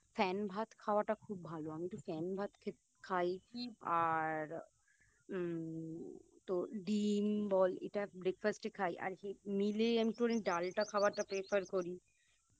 fan ভাত খাওয়াটা খুব ভালো আমিতো ফ্যান ভাত খেত খাই আর উম আর ডিম বল এটা Breakfast এ খাই আর Meal এ আমি একটুখানি ডালটা খাওয়াটা Prefer করি